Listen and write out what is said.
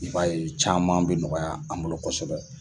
I b'a ye caman bi nɔgɔya, an bolo kosɛbɛ.